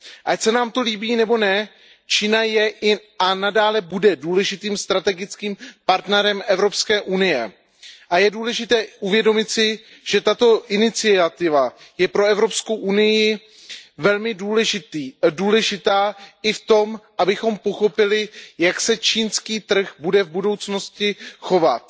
Ať se nám to líbí nebo ne, Čína je a i nadále bude důležitým strategickým partnerem Evropské unie a je důležité uvědomit si, že tato iniciativa je pro Evropskou unii velmi důležitá i v tom, abychom pochopili, jak se čínský trh bude v budoucnosti chovat.